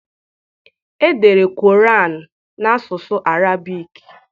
Edere Quran n'asụsụ Arabic.